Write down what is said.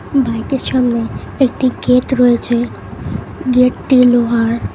বাইকের সামনে একটি গেট রয়েছে গেটটি লোহার।